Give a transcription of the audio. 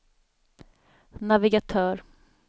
navigatör